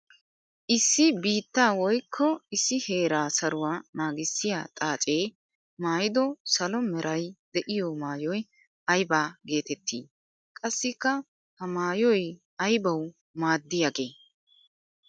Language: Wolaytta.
Issi biitta woykko issi heera saruwa naagissiya xaace maayiddo salo meray de'iyo maayoy aybba geetetti? Qassika ha maayoy aybbawu maaddiyage?